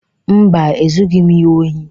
Mba, Ezughị m ya ohi.